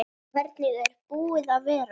Hvernig er búið að vera?